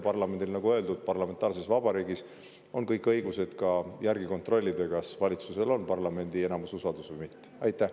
Parlamendil, nagu öeldud, on parlamentaarses vabariigis ka kõik õigused järele kontrollida, kas valitsusel on parlamendi enamuse usaldus või mitte.